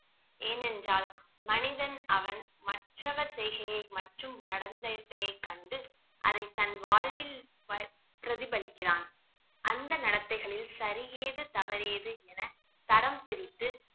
ஏனென்றால் மனிதன் அவன் மற்றவர் செய்கயை மட்டும் நடந்ததை கண்டு அதை தன் வாழ்வில் ப~ பிரதிபலிக்கிறான் அந்த நடத்தைகளில் சரி ஏது தவறு ஏது என தரம் பிரித்து